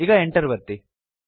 ಈಗ Enter ಒತ್ತಿ